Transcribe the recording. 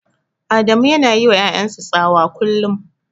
Adamu yana yiwa ƴaƴan sa tsawa kullum.